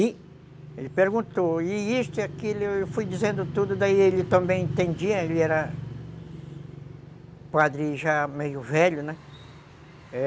E ele perguntou, e isso e aquilo, e eu fui dizendo tudo, daí ele também entendia, ele era padre já meio velho, né?